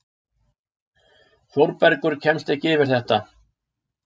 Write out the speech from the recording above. Þórbergur kemst ekki yfir þetta.